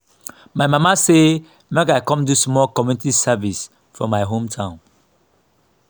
my mama say make i come do small community service for my hometown